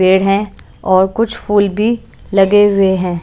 पेड़ है और कुछ फूल भी लगे हुए हैं।